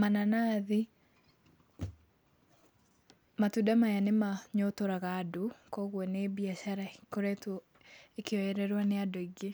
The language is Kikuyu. mananathi, matunda maya nĩmanyotoraga andũ kwoguo nĩ mbiacara ĩkoretwo ĩkĩoyererwo nĩ andũ aingĩ.